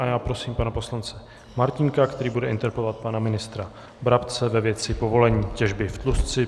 A já prosím pana poslance Martínka, který bude interpelovat pana ministra Brabce ve věci povolení těžby v Tlustci.